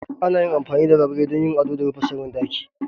Ana amfani da labule don yin ado da rufe sirrin ɗaki.